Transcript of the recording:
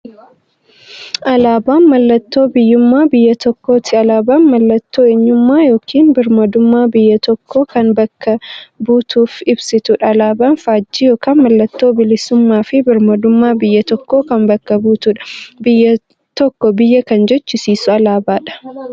Alaaban mallattoo biyyuummaa biyya tokkooti. Alaabaan mallattoo eenyummaa yookiin birmaadummaa biyya tokkoo kan bakka buutuuf ibsituudha. Alaaban faajjii yookiin maallattoo bilisuummaafi birmaadummaa biyya tokkoo kan bakka buutuudha. Biyya tokko biyya kan jechisisuu alaabadha.